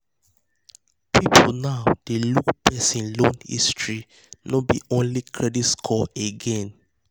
people now dey look person loan history no be only credit score again.